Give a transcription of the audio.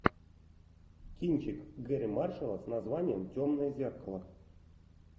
кинчик гэрри маршалла с названием темное зеркало